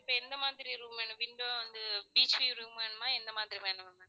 இப்ப எந்த மாதிரி room வேணும்? window அந்த beach view room வேணுமா என்ன மாதிரி வேணும்?